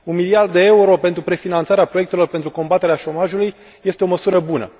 Un miliard de euro pentru prefinanțarea proiectelor pentru combaterea șomajului este o măsură bună.